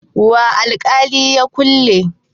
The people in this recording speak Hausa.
wa alkalin ya kulle?